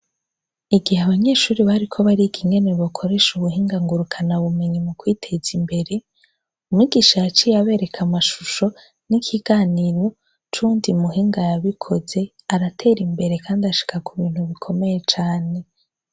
Igihe abanyeshure bariko bariga ingene bokoresha ubuhinga ngurukanabumenyi mu kwiteza imbere, umwigisha yaciye abereka amashusho n'ikiganiro c'uwundi muhinga yabikoze aratera imbere, kandi ashika kubintu bikomeye cane.